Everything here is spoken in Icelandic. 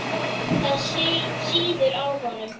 Það sýður á honum.